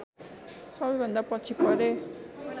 सबैभन्दा पछि परेँ